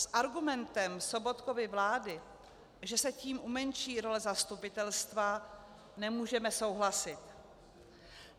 S argumentem Sobotkovy vlády, že se tím umenší role zastupitelstva, nemůžeme souhlasit.